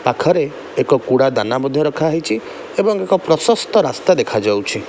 ପାଖରେ ଏକ କୁଡ଼ା ଦାନା ମଧ୍ୟ ରଖାହେଇଚି। ଏବଂ ଏକ ପ୍ରଶସ୍ତ ରାସ୍ତା ଦେଖାଯାଉଛି।